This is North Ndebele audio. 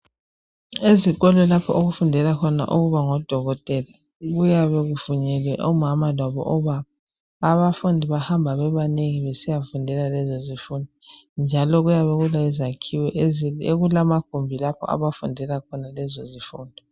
Ezikolo lapho okufundelwa khona ukuba ngodokotela kuyabe kuvunyelwe omama labobaba. Abafundi bahamba bebanengi besiyafundela lezo zifundo njalo kuyabe kulezakhiwo ezinengi, okulamagumbi lapho abafundela khona lezo zifundo.